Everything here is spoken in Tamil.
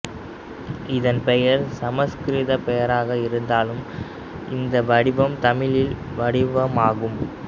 இதன் பெயர் சமஸ்கிருத பெயராக இருந்தாலும் இந்த வடிவம் தமிழரின் வடிவமாகும்